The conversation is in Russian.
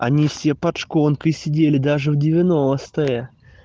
они все под шконкой сидели даже в девяностые